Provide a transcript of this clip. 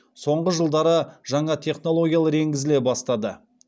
соңғы жылдары жаңа технологиялар енгізіле бастады